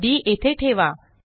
D येथे ठेवा